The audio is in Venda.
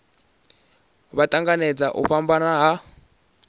vha tanganedza u fhambana ha